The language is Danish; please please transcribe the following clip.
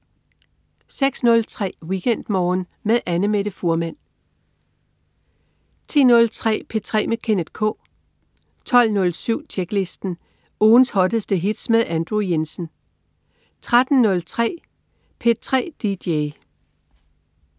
06.03 WeekendMorgen med Annamette Fuhrmann 10.03 P3 med Kenneth K 12.07 Tjeklisten. Ugens hotteste hits med Andrew Jensen 13.03 P3 dj